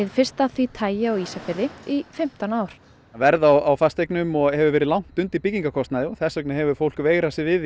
fyrsta af því tagi á Ísafirði í fimmtán ár verð á fasteignum hefur verið langt undir byggingarkostnaði og þess vegna hefur fólk veigrað sér við